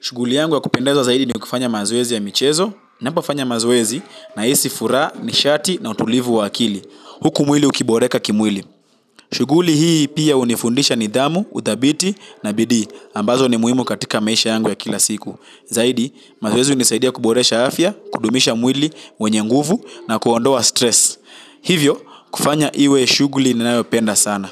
Shughuli yangu wa kupendeza zaidi ni kufanya mazoezi ya michezo. Ninapofanya mazoezi nahisi furaha, nishati na utulivu wa akili. Huku mwili ukiboreka kimwili. Shughuli hii pia hunifundisha nidhamu, udhabiti na bidii. Ambazo ni muhimu katika maisha yangu ya kila siku. Zaidi, mazoezi hunisaidia kuboresha afya, kudumisha mwili, wenye nguvu na kuondoa stress. Hivyo, kufanya iwe shuguli ninayopenda sana.